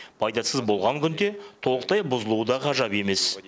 пайдасыз болған күнде толықтай бұзылуы да ғажап емес